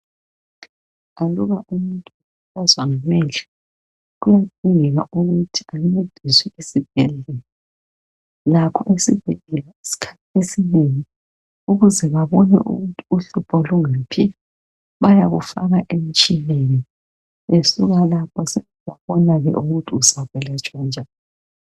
Aluba umuntu ekhathazwa ngamehlo kuyadingeka ukuthi encediswe esibhedlela lakho esibhedlela iskhathi esinengi ukuze babone ukuthi uhlupho lungaphi bayakufaka emtshineni besuka lapho sebebona ukuthi uzayelatshwa njani.